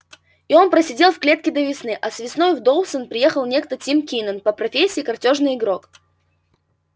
и он просидел в клетке до весны а весной в доусон приехал некто тим кинен по профессии картёжный игрок